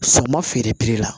Sama feere la